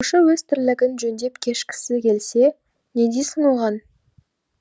оқушы өз тірлігін жөндеп кешкісі келсе не дейсің оған